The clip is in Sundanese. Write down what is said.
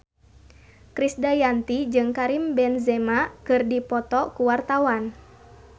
Krisdayanti jeung Karim Benzema keur dipoto ku wartawan